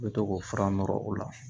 U bɛ to k'o fura nɔrɔ o la